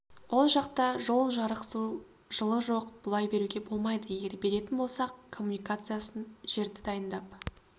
ол жақта жол жарық су жылу жоқ бұлай беруге болмайды егер беретін болсақ коммуникациясын жерді дайындап